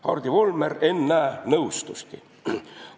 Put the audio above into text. Hardi Volmer, ennäe, nõustuski.